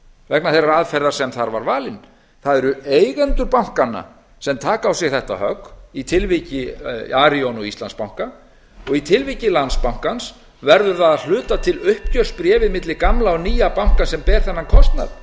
vegna þeirrar aðferðar sem þar var valin það eru eigendur bankanna sem taka á dag þetta högg í tilviki arion og íslandsbanka og í tilviki landsbankans verður það að hluta til uppgjörsbréfið milli gamla og nýja bankans sem ber þennan kostnað